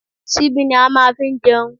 Síbí ni à máa n fi jẹun